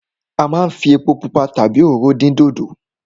A máa ń fi epo pupa tàbí òróró dín dòdò.